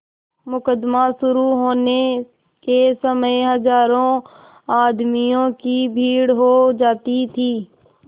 मुकदमा शुरु होने के समय हजारों आदमियों की भीड़ हो जाती थी